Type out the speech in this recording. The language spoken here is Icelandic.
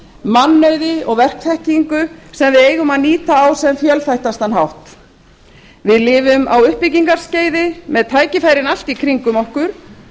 mannauði og verkþekkingu sem við eigum að nýta á sem fjölþættastan hátt við lifum á uppbyggingarskeiði með tækifærin allt í kringum okkur